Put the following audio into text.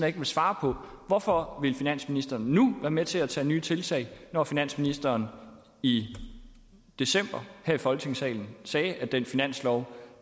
ikke vil svare på hvorfor finansministeren nu vil være med til at tage nye tiltag når finansministeren i december her i folketingssalen sagde at den finanslov